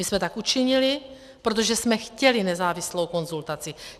My jsme tak učinili, protože jsme chtěli nezávislou konzultaci.